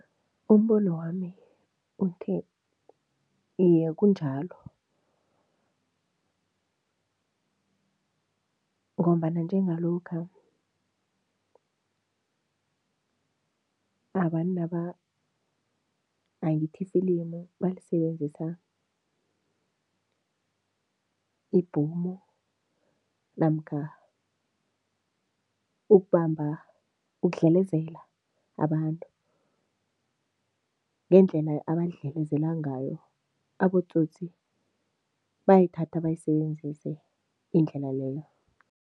Umbonwami uthi, iye kunjalo ngombana njengalokha abantu angithi lifilimu balisebenzisa ibhomu namkha ukubamba, ukudlelezela abantu, ngendlela abadlelezela ngayo, abotsotsi bayayithatha bayisebenzise indlela leyo.